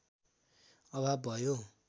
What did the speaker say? अभाव भयो